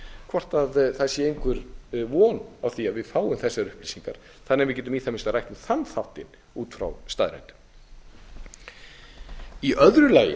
hvort það sé einhver von á því að við fáum þessar upplýsingar þannig að við getum í það minnsta rætt um þann þáttinn út frá staðreyndum í öðru lagi